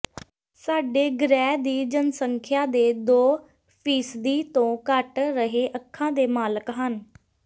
ਸਾਡੇ ਗ੍ਰਹਿ ਦੀ ਜਨਸੰਖਿਆ ਦੇ ਦੋ ਫੀਸਦੀ ਤੋਂ ਘੱਟ ਹਰੇ ਅੱਖਾਂ ਦੇ ਮਾਲਕ ਹਨ